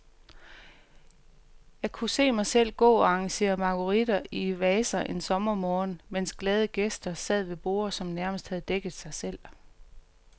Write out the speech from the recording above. Jeg kunne se mig selv gå og arrangere marguritter i vaser en sommermorgen, mens glade gæster sad ved borde, som nærmest havde dækket sig selv.